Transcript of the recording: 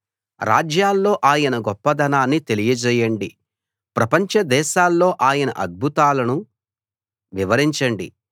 రాజ్యాల్లో ఆయన గొప్పదనాన్ని తెలియచేయండి ప్రపంచ దేశాల్లో ఆయన అద్భుతాలను వివరించండి